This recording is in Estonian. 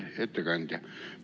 Hea ettekandja!